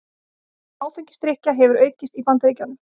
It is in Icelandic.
Áfengisdrykkja hefur aukist í Bandaríkjunum